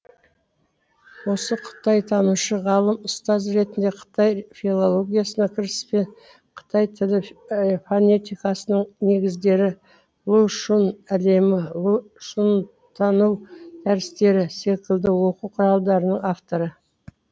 осы қытайтанушы ғалым ұстаз ретінде қытай филологиясына кіріспе қытай тілі фонетикасының негіздері лу шүн әлемі лу шүнтану дәрістері секілді оқу құралдарының авторы